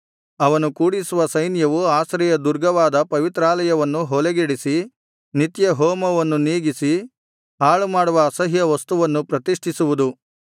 ಅವನು ಕೂಡಿಸುವ ಸೈನ್ಯವು ಆಶ್ರಯ ದುರ್ಗವಾದ ಪವಿತ್ರಾಲಯವನ್ನು ಹೊಲೆಗೆಡಿಸಿ ನಿತ್ಯಹೋಮವನ್ನು ನೀಗಿಸಿ ಹಾಳುಮಾಡುವ ಅಸಹ್ಯವಸ್ತುವನ್ನು ಪ್ರತಿಷ್ಠಿಸುವುದು